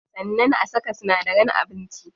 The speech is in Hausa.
Sannan a saka sinadaran abinci.